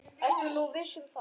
Ertu nú viss um það?